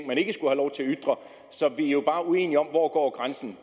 som vi jo bare uenige om hvor grænsen